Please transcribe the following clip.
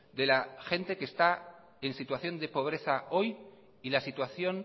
de la gente que está en situación de pobreza hoy y la situación